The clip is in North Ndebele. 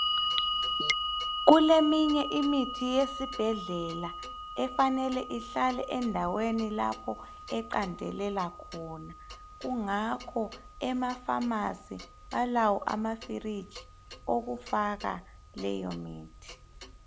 Kuleminye imithi yesibhedlela okufanele ihlale endaweni lapho eqandelela khona kungakho ema pharmacy alawo ama fridge okufaka leyomithi